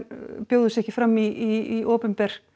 bjóði sig ekki fram í opinber